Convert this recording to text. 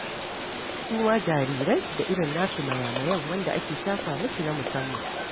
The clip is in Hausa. Su ma jarirai da irin na su maya-mayan da ake shafa musu na musamman.